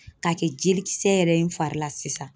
K'a kɛ jelikisɛ yɛrɛ ye n fari la sisan.